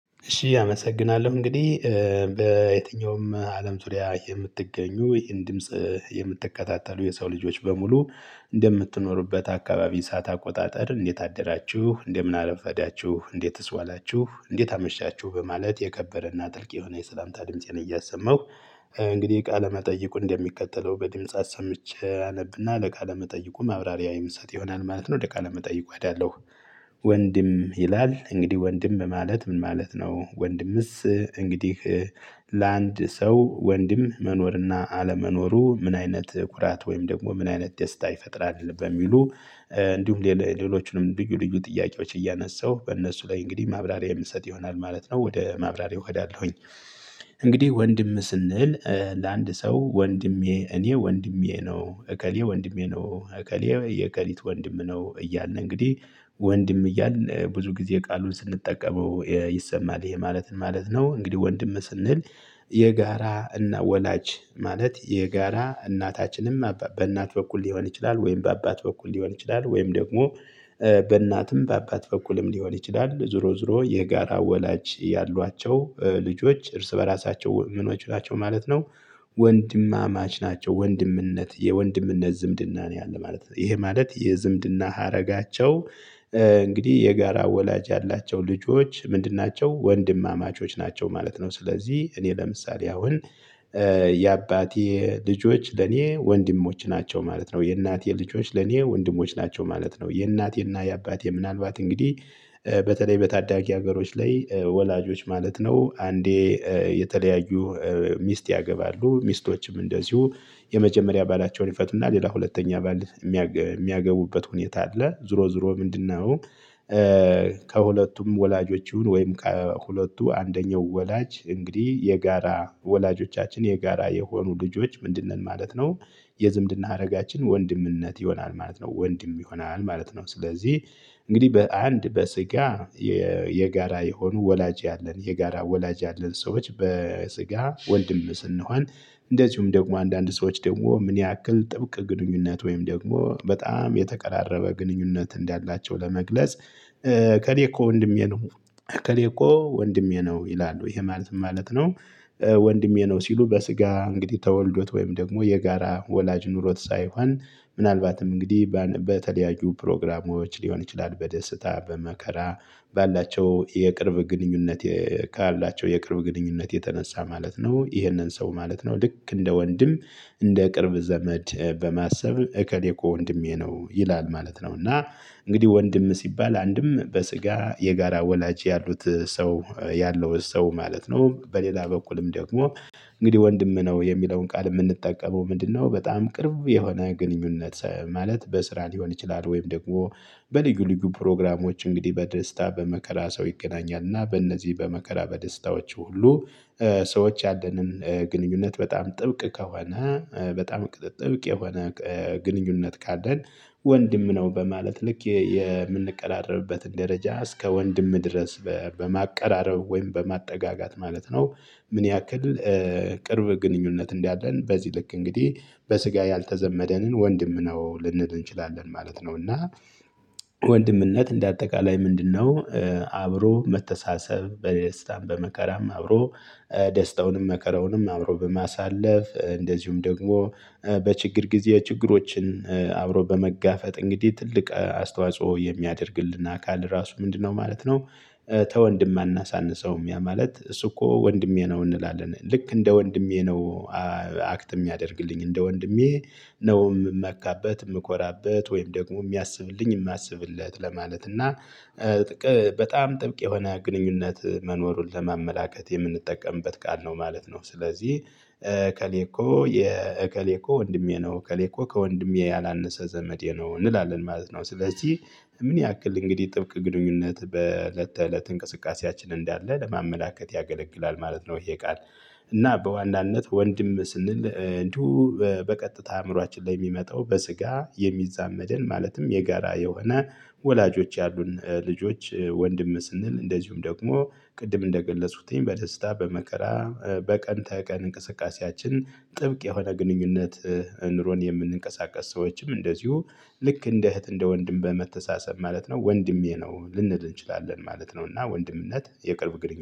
እሺ አመሰግናለሁ እንግዲህ በየትኛውም አለም ዙሪያ የምትገኙ ይህን ድምጽ የምትከታተሉ የሰው ልጆች በሙሉ እንደምትኖሩበት አካባቢ ሰዓት አቆጣጥር እንዴት አደራችሁ እንደምን አረፈዳችሁ እንዴትስ ዋላችሁ እንዴት አመሻችሁ በማለት የከበረና ጥልቅ የሆነ የሰላምታ ድምፄን እያሰማሁ። እንግዲህ ቃለ መጠይቁ እንደሚከተለው በድምጽ አሰምቼ አነብና ለቃለ መጠይቁ ማብራሪያ የምሰጥ ይሆናል ማለት ነው። ውደ ቃለ መጠይቁ እሄዳለሁ። ወንድም ይላል እንግዲህ ወንድም ማለት ምን ማለት ነው? ወንድምስ እንግዲህ ለአንድ ሰው ወንድም መኖርና አለመኖሩ ምን አይነት ኩራት ወይም ደግሞ ምን አይነት ደስታ ይፈጥራል? በሚሉ እንዲሁም ሌሎቹንም ልዩ ልዩ ጥያቄዎች እያነሳሁ በእነሱ ላይ እንግዲህ ማብራሪያ የምንሰጥ ይሆናል ማለት ነው። ወደ ማብራሪያው እሄዳለሁኝ። እንግዲህ ወንድም ስንል ለአንድ ሰው ወንድሜ እኔ ወንድሜ ነው እከሌ ወንድሜ ነው እከሌ የከሊት ወንድም ነው። እያልን እንግዲህ ወንድም እያልን ብዙ ጊዜ ቃሉን ስንጠቀመው ይሰማል ይሄ ማለት ምን ማለት ነው? እንግዲህ ወንድም ስንል የጋራ እና ወላጅ ማለት የጋራ እናታችንም በእናት በኩል ሊሆን ይችላል ወይም በአባት በኩል ሊሆን ይችላል። ወይም ደግሞ በእናትም በአባት በኩልም ሊሆን ይችላል ዞሮ ዞሮ የጋራ ወላጅ ያሏቸው ልጆች እርስ በራሳቸው ምንኖች ናቸው ማለት ነው። ወንድማማች ናቸው ወንድምነት የወንድምነት ዝምድና ነው ያለው ማለት ነው። ይሄ ማለት የዝምድና ሀረጋቸው። እንግዲህ የጋራ ወላጅ ያላቸው ልጆች ምንድን ናቸው ወንድማማቾች ናቸው ማለት ነው። ስለዚህ እኔ ለምሳሌ አሁን የአባቴ ልጆች ለኔ ወንድሞች ናቸው ማለት ነው። የእናቴ ልጆች ለኔ ወንድሞች ናቸው ማለት ነው። የእናቴና የአባቴ ምናልባት እንግዲህ በተለይ በታዳጊ ሀገሮች ላይ ወላጆች ማለት ነው። አንዴ የተለያዩ ሚስት ያገባሉ ሚስቶችም እንደዚሁ የመጀመሪያ ባላቸውን ይፈቱና ሌላ ሁለተኛ አባል የሚያገቡበት ሁኔታ አለ። ዙሮ ዙሮ ምንድነው? ከሁለቱም ወላጆች ይሁን ወይም ከሁለቱ አንደኛው ወላጅ እንግዲህ የጋራ ወላጆቻችን የጋራ የሆኑ ልጆች ምንድን ነን ማለት ነው። የዝምድና ሀረጋችን ወንድምነት ይሆናል ማለት ነው። ወንድም ይሆናል ማለት ነው ስለዚህ እንግዲህ በአንድ በስጋ የጋራ የሆኑ ወላጅ ያለን የጋራ ወላጅ ያለን ሰዎች በስጋ ወንድም ስንሆን። እንደዚሁም ደግሞ አንዳንድ ሰዎች ደግሞ ምን ያክል ጥብቅ ግንኙነት ወይም ደግሞ በጣም የተቀራረበ ግንኙነት እንዳላቸው ለመግለጽ። እከሌኮ ወንድሜ ነው እከሌኮ ወንድሜ ነው ይላሉ ይሄ ማለት ማለት ነው። ወንድሜ ነው ሲሉ በስጋ እንግዲህ ተወልዶት ወይም ደግሞ የጋራ ወላጅ ኑሮት ሳይሆን። ምናልባትም እንግዲህ በተለያዩ ፕሮግራሞች ሊሆን ይችላል። በደስታ በመከራ ባላቸው የቅርብ ግንኙነት ካላቸው የቅርብ ግንኙነት የተነሳ ማለት ነው። ይህንን ሰው ማለት ነው ልክ እንደ ወንድም እንደ ቅርብ ዘመድ በማሰብ እከሌ እኮ ወንድሜ ነው ይላል ማለት ነው። እና እንግዲህ ወንድም ሲባል አንድም በስጋ የጋራ ወላጅ ያሉት ሰው ያለው ሰው ማለት ነው። በሌላ በኩልም ደግሞ እንግዲህ ወንድም ነው የሚለውን ቃል የምንጠቀመው ምንድነው? በጣም ቅርብ የሆነ ግንኙነት ማለት በስራ ሊሆን ይችላል። ወይም ደግሞ በልዩ ልዩ ፕሮግራሞች እንግዲህ በደስታ በመከራ ሰው ይገናኛል እና በእነዚህ በመከራ በደስታዎቹ ሁሉ ሰዎች ያለንን ግንኙነት በጣም ጥብቅ ከሆነ በጣም ጥብቅ የሆነ ግንኙነት ካለን ወንድም ነው። በማለት ልክ የምንቀራረብበትን ደረጃ እስከ ወንድም ድረስ በማቀራረብ ወይም በማጠጋጋት ማለት ነው። ምን ያክል ቅርብ ግንኙነት እንዳለን በዚህ ልክ እንግዲህ በስጋ ያልተዘመደንን ወንድም ነው ልንል እንችላለን ማለት ነው። እና ወንድምነት እንደ አጠቃላይ ምንድነው? አብሮ መተሳሰብ በደስታም በመከራም አብሮ ደስታውንም መከራውንም አብሮ በማሳለፍ እንደዚሁም ደግሞ በችግር ጊዜ ችግሮችን አብሮ በመጋፈጥ እንግዲህ ትልቅ አስተዋጽኦ የሚያደርግልን አካል ራሱ ምንድነው ማለት ነው። ተወንድም አናሳንሰውም ያ ማለት እሱ እኮ ወንድሜ ነው እንላለን ልክ እንደ ወንድሜ ነው። አክት የሚያደርግልኝ እንደ ወንድሜ ነው የምመካበት የምኮራበት ወይም ደግሞ የሚያስብልኝ የማስብለት ለማለት እና በጣም ጥብቅ የሆነ ግንኙነት መኖሩን ለማመላከት የምንጠቀምበት ቃል ነው ማለት ነው። ስለዚህ እከሌኮ የእከሌ እኮ ወንድሜ ነው እከሌኮ ከወንድሜ ያላነሰ ዘመዴ ነው እንላለን ማለት ነው። ስለዚህ ምን ያክል እንግዲህ ጥብቅ ግንኙነት በእለት ተእለት እንቅስቃሴያችን እንዳለ ለማመላከት ያገለግላል ማለት ነው። ይሄ ቃል። እና በዋናነት ወንድም ስንል እንዲሁ በቀጥታ አእምሮአችን ላይ የሚመጣው በስጋ የሚዛመድን ማለትም የጋራ የሆነ ወላጆች ያሉን ልጆች ወንድም ስንል እንደዚሁም ደግሞ ቅድም እንደገለጹትኝ በደስታ በመከራ በቀን ተቀን እንቅስቃሴያችን ጥብቅ የሆነ ግንኙነት። ኑሮን የምንቀሳቀስ ሰዎችም እንደዚሁ ልክ እንደ እህት እንደ ወንድም በመተሳሰብ ማለት ነው ወንድሜ ነው ልንል እንችላለን ማለት ነው። እና ወንድምነት የቅርብ ግንኙነት